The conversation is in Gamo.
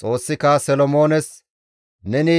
Xoossika Solomoones, «Neni